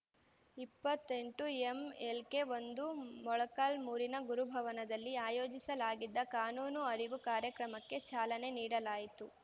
ಇಪ್ಪತ್ತೆಂಟು ಎಂಎಲ್‌ಕೆ ಒಂದು ಮೊಳಕಾಲ್ಮುರಿನ ಗುರುಭವನದಲ್ಲಿ ಆಯೋಜಿಸಲಾಗಿದ್ದ ಕಾನೂನು ಅರಿವು ಕಾರ್ಯಕ್ರಮಕ್ಕೆ ಚಾಲನೆ ನೀಡಲಾಯಿತು